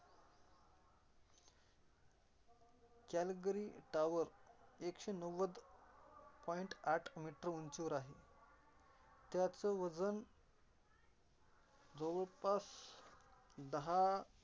चार्लगली tower एकशे नव्वद point आठ मीटर उंचीवर आहे. त्याच वजन जवळपास दहा